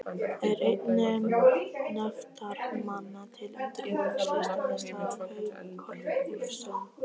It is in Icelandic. Er einn nefndarmanna til undirbúnings Listamiðstöð á Korpúlfsstöðum.